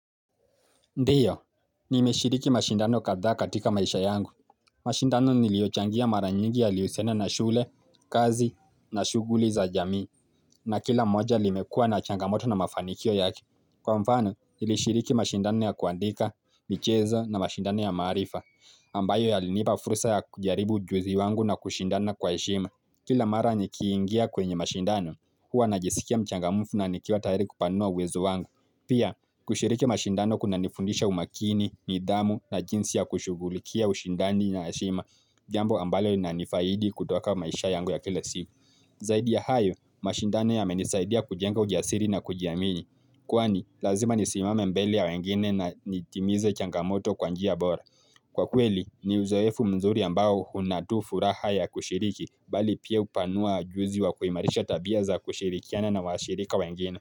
Ndio, nimeshiriki mashindano kadha katika maisha yangu. Mashindano niliochangia mara nyingi yalihusiana na shule, kazi, na shuguli za jamii, na kila moja limekua na changamoto na mafanikio yake Kwa mfano, nilishiriki mashindano ya kuandika, michezo na mashindano ya maarifa, ambayo yalinipa furusa ya kujaribu ujuzi wangu na kushindana kwa heshima. Kila mara nikiingia kwenye mashindano, huwa najisikia mchangamufu na nikiwa tayari kupanua uwezo wangu. Pia, kushiriki mashindano kunanifundisha umakini, nidhamu na jinsi ya kushugulikia ushindani na heshima, jambo ambalo inanifaidi kutoka maisha yangu ya kile siu. Zaidi ya hayo, mashindano yamenisaidia kujenga ujiasiri na kujiamini. Kwani, lazima nisimame mbele ya wengine na nitimize changamoto kwa njia bora. Kwa kweli, ni uzoefu mzuri ambao una tu furaha ya kushiriki, bali pia upanua ujuzi wa kuimarisha tabia za kushirikiana na washirika wengine.